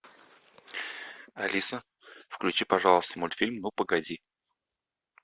алиса включи пожалуйста мультфильм ну погоди